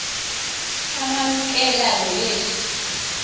amamkela lo yesu